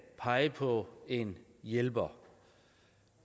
pege på en hjælper